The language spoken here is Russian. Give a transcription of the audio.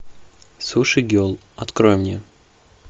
суши гел открой мне